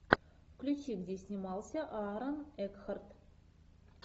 включи где снимался аарон экхарт